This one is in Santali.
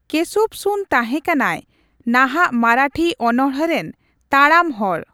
ᱠᱮᱥᱩᱵᱥᱩᱛ ᱛᱟᱦᱮᱸ ᱠᱟᱱᱟᱭ ᱱᱟᱦᱟᱜ ᱢᱟᱨᱟᱴᱷᱤ ᱚᱱᱚᱬᱦᱮ ᱨᱮᱱ ᱛᱟᱲᱟᱢ ᱦᱚᱲ ᱾